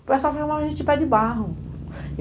O pessoal a gente de pé de barro.